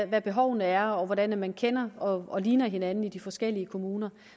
hvad behovene er og hvordan man kender og og ligner hinanden i de forskellige kommuner